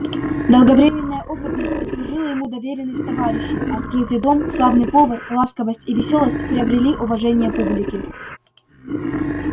долговременная опытность заслужила ему доверенность товарищей а открытый дом славный повар ласковость и весёлость приобрели уважение публики